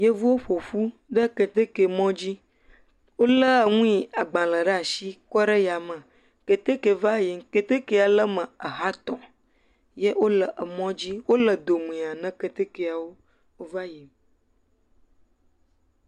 Yevuwo ƒo ƒu ɖe keteke mɔ dzi. Wolé nu yi agbalẽ ɖe asi kɔ ɖe yame. Keteke va yim, keteke le eme ha etɔ̃ ye wole mɔ dzi. Wole domea ne ketekea wo wova yi.